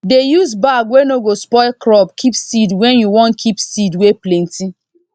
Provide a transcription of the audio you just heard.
dey use bag wey no go spoil crop keep seed wen you wan keep seed wey plenty